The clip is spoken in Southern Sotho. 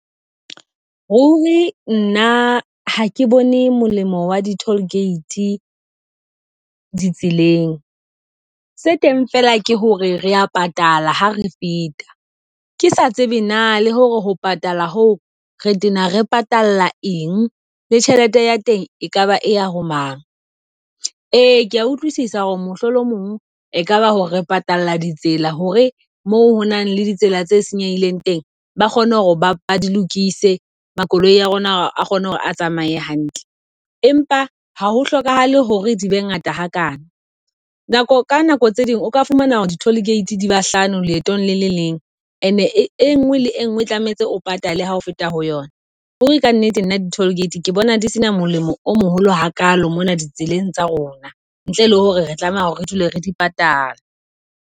Ruri nna ha ke bone molemo wa di tollgate di tseleng. Se teng fela ke hore re ya patala, ha re feta, ke sa tsebe na le hore ho patala ho re tena re patala eng le tjhelete ya teng. Ekaba e ya ho mang, ee ke a utlwisisa hore mohlomong ekaba hore re patala ditsela hore moo hona le ditsela tse senyehileng teng ba kgone ho ba di lokise makoloi a rona a kgone hore a tsamaye hantle. Empa ha ho hlokahale hore di be ngata hakana nako ka nako tse ding o ka fumana hore di toll gate di bahlano leetong le le leng. And enngwe le engwe tlametse o patale ha ho feta ho yona. Ruri ka nnete nna di tollgate ke bona di sena molemo o moholo hakalo mona ditseleng tsa rona, ntle le hore re tlameha hore re dule re di patala.